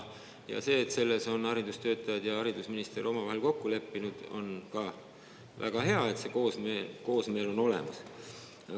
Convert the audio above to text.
See, et selles on haridustöötajad ja haridusminister omavahel kokku leppinud, on ka väga hea, on hea, et see koosmeel on olemas.